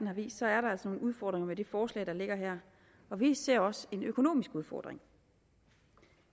har vist er der altså nogle udfordringer med det forslag der ligger her vi ser også en økonomisk udfordring